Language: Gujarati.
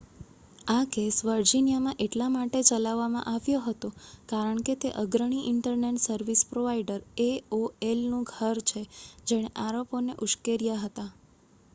આ કેસ વર્જિનિયામાં એટલા માટે ચલાવવામાં આવ્યો હતો કારણ કે તે અગ્રણી ઇન્ટરનેટ સર્વિસ પ્રોવાઇડર એઓએલનું ઘર છે જેણે આરોપોને ઉશ્કેર્યા હતા